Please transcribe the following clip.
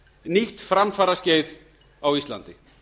nýtt framfaraskeið á íslandi